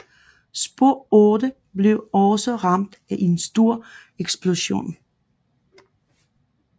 Spor 8 blev også ramt af en stor eksplosion